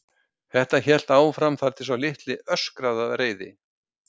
Þetta hélt áfram þar til sá litli öskraði af reiði.